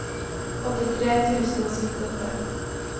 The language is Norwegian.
åttitre tusen og syttiåtte